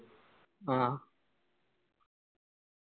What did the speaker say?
ആ